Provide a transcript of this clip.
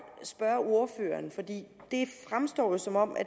spørge ordføreren for det fremstår jo som om